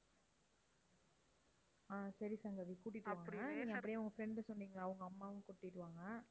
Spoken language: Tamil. ஆஹ் சரி சங்கவி கூட்டிட்டு வாங்க. அப்படியே உங்க friend சொன்னீங்களே அவங்க அம்மாவையும் கூட்டிட்டு வாங்க.